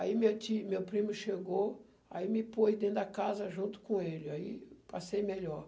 Aí meu tio meu primo chegou, aí me pôs dentro da casa junto com ele, aí passei melhor.